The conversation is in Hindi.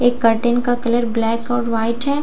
एक कर्टन का कलर ब्लैक और व्हाइट हैं और दूसरे --